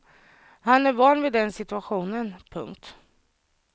Han är van vid den situationen. punkt